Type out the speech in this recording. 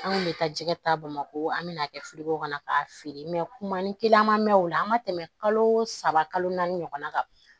An kun bɛ taa jɛgɛ ta bamako an bɛna kɛ o ka na k'a feere mɛ kuma ni kelen an ma mɛn o la an ma tɛmɛ kalo saba kalo naani ɲɔgɔnna kan